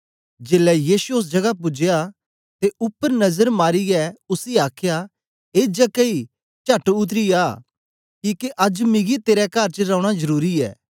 जेलै यीशु ओस जगह पूजया ते उपर नजर मारीयै उसी आखया ए जक्कई चट उतरी आ किके अज्ज मिगी तेरे कर च रौना जरुरी ऐ